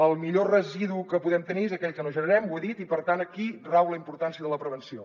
el millor residu que podem tenir és aquell que no generem ho he dit i per tant aquí rau la importància de la prevenció